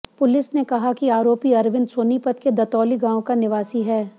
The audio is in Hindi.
पुलिस ने कहा कि आरोपी अरविंद सोनीपत के दतौली गांव का निवासी है